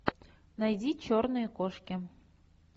найди черные кошки